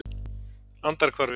Andarhvarfi